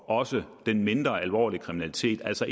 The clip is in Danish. også den mindre alvorlige kriminalitet altså